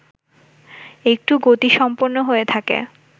একটু গতিসম্পন্ন হয়ে থাকে